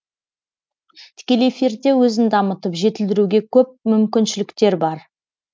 тікелей эфирде өзін дамытып жетілдіруге көп мүмкіншіліктер бар